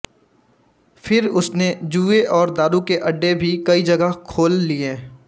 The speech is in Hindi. फिर उसने जुएं और दारू के अड्डे भी कई जगह खोल लिए